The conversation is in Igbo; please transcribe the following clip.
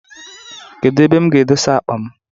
Kedu ebe m ga edosa akpa m?